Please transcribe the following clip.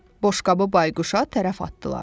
Boşqabı bayquşa tərəf atdılar.